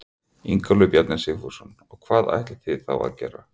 Ingólfur Bjarni Sigfússon: Og hvað ætlið þið þá að gera?